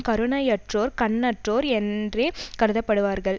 கருணையற்றோர் கண்ணற்றோர் என்றே கருதப்படுவார்கள்